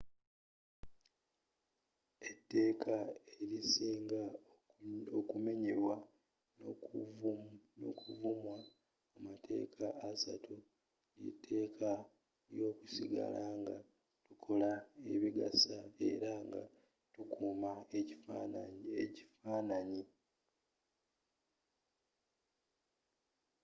etteka elisinga okunyomebwa n'okuvumwa mu matekka assatu lyetekka lyokusigala nga tukola ebigasa era nga tukuma ekifananyi